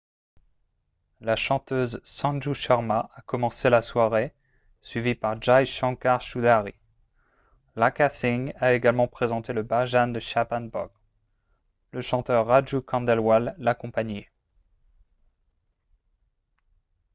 la chanteuse sanju sharma a commencé la soirée suivie par jai shankar choudhary lakkha singh a également présenté le bhajan de chhappan bhog le chanteur raju khandelwal l'accompagnait